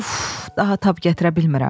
Uf, daha tab gətirə bilmirəm.